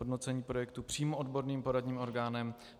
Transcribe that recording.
Hodnocení projektu přímo odborným poradním orgánem.